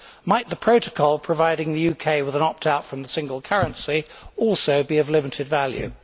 Might the protocol providing the UK with an opt out from the single currency also be of limited value?